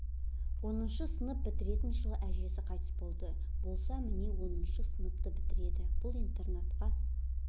оныншы сынып бітіретін жылы әжесі қайтыс болды болса міне оныншы сыныпты бітіреді бұл интернатқа